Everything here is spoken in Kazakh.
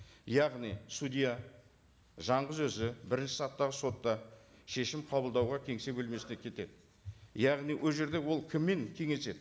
яғни судья жалғыз өзі бірінші сатыдағы сотта шешім қабылдауға кеңсе бөлмесіне кетеді яғни ол жерде ол кіммен кеңеседі